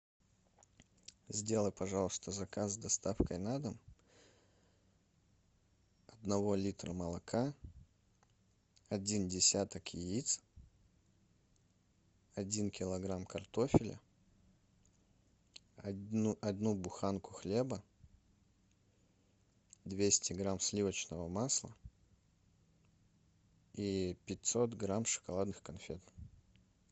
сделай пожалуйста заказ с доставкой на дом одного литра молока один десяток яиц один килограмм картофеля одну буханку хлеба двести грамм сливочного масла и пятьсот грамм шоколадных конфет